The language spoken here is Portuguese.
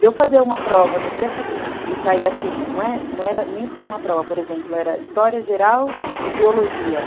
Deu fazer uma prova no dia seguinte e cair assim, não era nem só uma prova, por exemplo, era história geral e biologia.